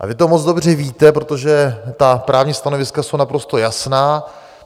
A vy to moc dobře víte, protože ta právní stanoviska jsou naprosto jasná.